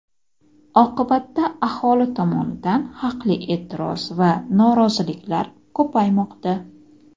Oqibatda aholi tomonidan haqli e’tiroz va noroziliklar ko‘paymoqda.